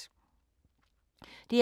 DR K